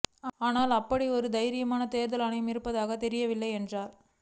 ஆனால் அப்படி ஒரு தைரியமான தேர்தல் ஆணையம் இருப்பதாக தெரியவில்லை என்றார்